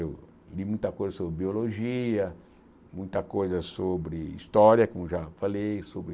Eu li muita coisa sobre biologia, muita coisa sobre história, como já falei, sobre...